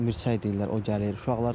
O mirçək deyirlər, o gəlir.